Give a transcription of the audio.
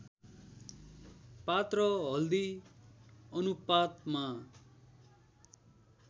पात र हल्दी अनुपातमा